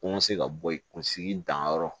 Ko n ka se ka bɔ yen kunsigi danyɔrɔ